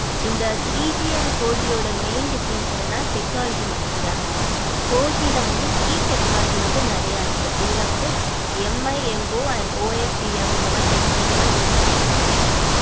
இந்த three G and four G ஓட main difference என்னன்னா technology மட்டும் தான் mam four G வந்து key technology வந்து நிறைய இருக்கு. இதுல வந்து MIMOandOFTM இந்த மாரி technology யெல்லாம் use பண்ணி இருக்காங்க mam